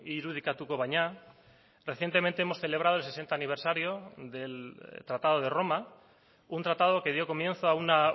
irudikatuko baina recientemente hemos celebrado el sesenta aniversario del tratado de roma un tratado que dio comienzo a una